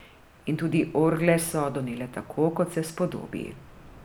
In tudi orgle so donele tako, kot se spodobi.